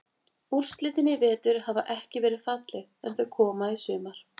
Úrslitin í vetur hafa ekki verið falleg en þau koma í sumar.